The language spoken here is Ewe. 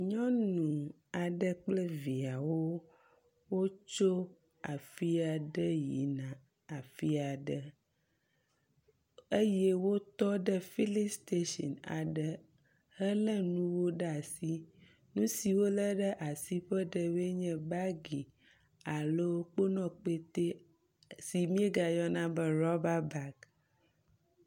Nyɔnu aɖe kple viawo wotso afi aɖe yina afi aɖe eye wotɔ ɖe filistasini aɖe hele nuwo ɖe asi. Nu siwo wo le ɖe asi ƒe ɖewoe nye bagi alo kponɔkpɛte si miegayɔna be rɔba bagi.